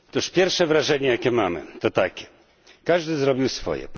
Pierwsze wrażenie, jakie mamy, to takie, że każdy zrobił swoje.